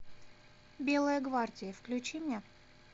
белая гвардия включи мне